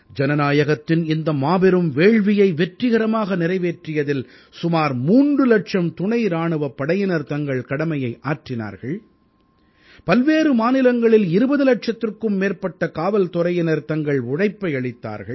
ஜனநாயகத்தின் இந்த மாபெரும் வேள்வியை வெற்றிகரமாக நிறைவேற்றியதில் சுமார் 3 இலட்சம் துணை இராணுவப் படையினர் தங்கள் கடமையை ஆற்றினார்கள் பல்வேறு மாநிலங்களில் 20 இலட்சத்திற்கும் மேற்பட்ட காவல்துறையினர் தங்கள் உழைப்பை அளித்தார்கள்